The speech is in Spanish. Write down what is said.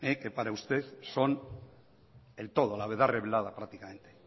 que para usted son el todo la verdad rebelada prácticamente